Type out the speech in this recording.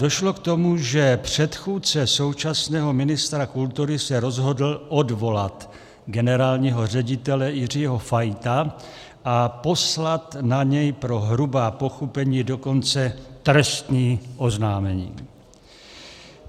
Došlo k tomu, že předchůdce současného ministra kultury se rozhodl odvolat generálního ředitele Jiřího Fajta a poslat na něj pro hrubá pochybení dokonce trestní oznámení.